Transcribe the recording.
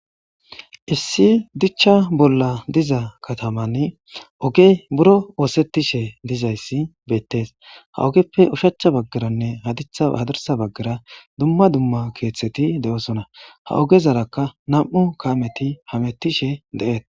issi dichcha bolla diza katamanni ogey buro oosettishe dizayssi beettees. ha ogeppe ushacha baggaranne hadirsa baggara dumma dumma keeththeti de'osona. ha ogezarakka nam"u kaameti hamettishe de'etees.